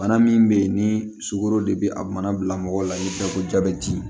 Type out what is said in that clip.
Bana min bɛ yen ni sukaro de bɛ a mana bila mɔgɔ la i bɛ taa ko jabɛti